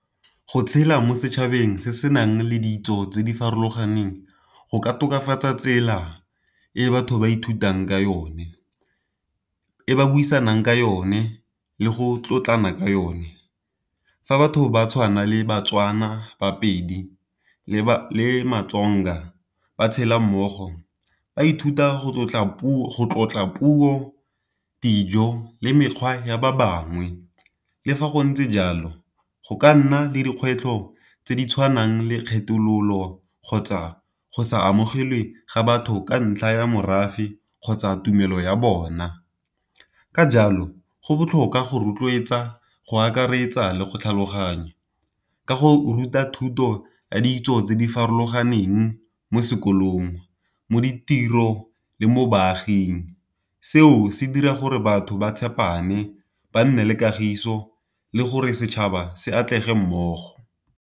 Go tshela mo setšhabeng se se nang le ditso tse di farologaneng, go ka tokafatsa tsela e batho ba ithutang ka yone, e ba buisang ka yone, le go tlotlana ka yone. Fa batho ba tshwana le baTswana baPedi le baTsonga ba tshela mmogo. Ba ithuta go tlotla puo, dijo le mekgwa ya ba bangwe. Le fa go ntse jalo go ka nna le dikgwetlho tse di tshwanang le kgethololo kgotsa go sa amogelwe ga batho ka ntlha ya morafe kgotsa tumelo ya bona. Ka jalo go botlhokwa go rotloetsa, go akaretsa, le go tlhaloganya. Ka go ruta thuto ya ditso tse di farologaneng mo sekolong, mo ditiro, le mo baaging. Seo se dira gore batho ba tshepane ba nne le kagiso le gore setšhaba se atlege mmogo.